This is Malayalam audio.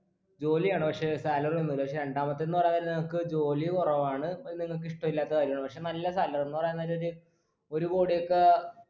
ജോലിയാണ് പക്ഷേ salary ഒന്നുല്ല പക്ഷേ രണ്ടാമത്തെന്ന് പറയാനേരം നിങ്ങക്ക് ജോലി കുറവാണ് അഹ് നിങ്ങക്ക് ഇഷ്ട്ടില്ലാത്ത കാര്യാണ് പക്ഷെ നല്ല salary എന്ന് പറയാ നേരം ഒരു ഒരു കോടിയൊക്കെ